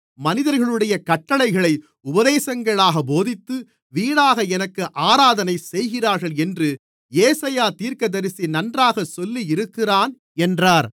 மனிதர்களுடைய கட்டளைகளை உபதேசங்களாகப் போதித்து வீணாக எனக்கு ஆராதனை செய்கிறார்கள் என்று ஏசாயா தீர்க்கதரிசி நன்றாகச் சொல்லியிருக்கிறான் என்றார்